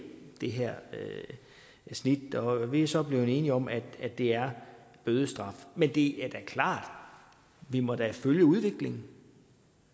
det her snit og vi er så blevet enige om at det er bødestraf men det er da klart at vi må følge udviklingen